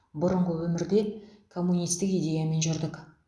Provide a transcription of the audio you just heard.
бұрынғы өмірде коммунистік идеямен жүрдік